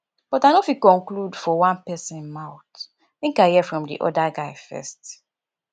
but i no fit conclude for one pesin mouth make i hear from di other guy first